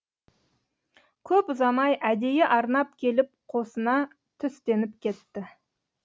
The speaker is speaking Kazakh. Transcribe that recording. көп ұзамай әдейі арнап келіп қосына түстеніп кетті